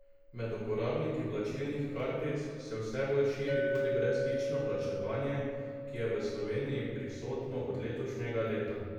Med uporabniki plačilnih kartic se vse bolj širi tudi brezstično plačevanje, ki je v Sloveniji prisotno od letošnjega leta.